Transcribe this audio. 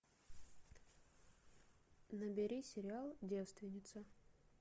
набери сериал девственница